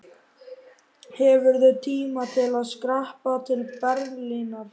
Hefurðu tíma til að skreppa til Berlínar?